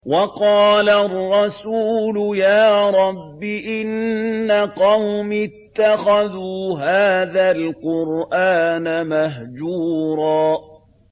وَقَالَ الرَّسُولُ يَا رَبِّ إِنَّ قَوْمِي اتَّخَذُوا هَٰذَا الْقُرْآنَ مَهْجُورًا